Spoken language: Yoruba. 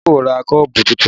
Adé kò ra kọ́ọ̀bù tuntun